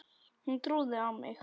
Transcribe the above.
Hún trúði á mig.